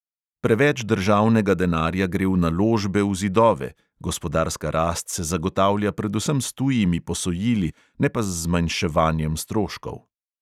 Preveč državnega denarja gre v naložbe v zidove, gospodarska rast se zagotavlja predvsem s tujimi posojili, ne pa z zmanjševanjem stroškov.